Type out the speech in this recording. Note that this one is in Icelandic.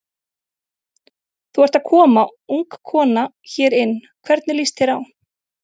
Þú ert að koma ung kona hérna inn, hvernig líst þér á?